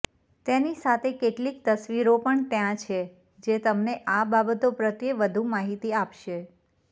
તેની સાથે કેટલીક તસવીરો પણ ત્યાં છે જે તમને આ બાબતો પ્રત્યે વધુ માહિતી આપશે